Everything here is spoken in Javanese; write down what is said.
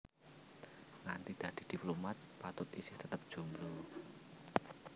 Nganti dadi diplomat Patut isih tetep jomblo